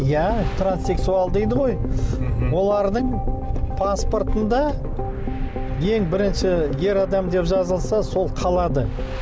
иә транссексуал дейді ғой мхм олардың паспортында ең бірінші ер адам деп жазылса сол қалады